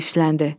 heyfsləndi.